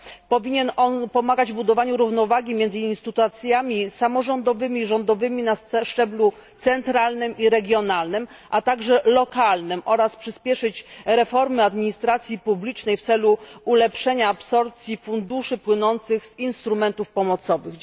Powinien on pomagać w budowaniu równowagi między instytucjami samorządowymi, rządowymi na szczeblu centralnym i regionalnym, a także lokalnym oraz przyspieszyć reformę administracji publicznej w celu ulepszenia absorbcji funduszy płynących z instrumentów pomocowych.